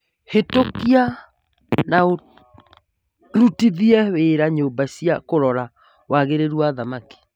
Hĩtũkia na ũrutithie wĩra nyũmba cia kũrora wagĩrĩru wa thamaki